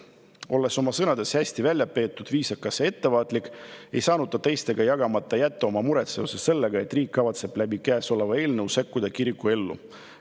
Olles oma sõnades hästi väljapeetud, viisakas ja ettevaatlik, ei saanud ta teistega jagamata jätta oma muret seoses sellega, et riik kavatseb kõnealuse eelnõu kohaselt sekkuda kiriku ellu.